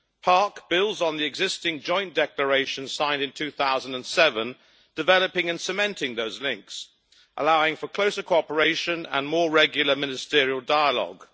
PARC builds on the existing joint declaration signed in 2007 developing and cementing those links, allowing for closer cooperation and more regular ministerial dialogue.